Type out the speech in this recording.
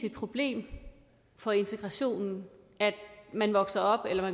et problem for integrationen at man